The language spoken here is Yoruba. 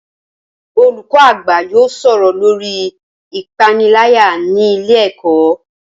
Olùkọ́ àgbà yóò sọ̀rọ̀ lórii ìpániláyà ní ilé ẹ̀kọ́